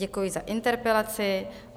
Děkuji za interpelaci.